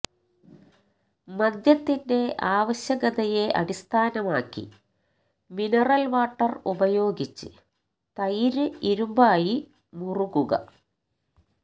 മദ്യത്തിന്റെ ആവശ്യകതയെ അടിസ്ഥാനമാക്കി മിനറൽ വാട്ടർ ഉപയോഗിച്ച് തൈര് ഇരുമ്പായി മുറുകുക